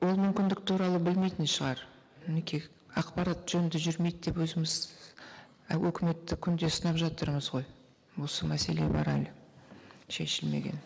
ол мүмкіндік туралы білмейтін шығар мінеки ақпарат жөнді жүрмейді деп өзіміз і өкіметті күнде сынап жатырмыз ғой осы мәселе бар әлі шешілмеген